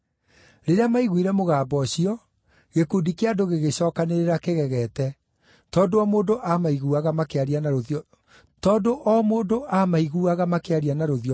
Rĩrĩa maiguire mũgambo ũcio, gĩkundi kĩa andũ gĩgĩcookanĩrĩra kĩgegete, tondũ o mũndũ aamaiguaga makĩaria na rũthiomi rwake kĩũmbe.